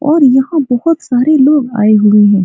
और यहाँ बहुत सारे लोग आए हुए हैं।